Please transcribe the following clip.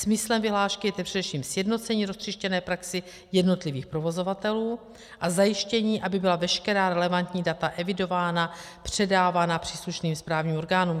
Smyslem vyhlášky je především sjednocení roztříštěné praxe jednotlivých provozovatelů a zajištění, aby byla veškerá relevantní data evidována, předávána příslušným správním orgánům.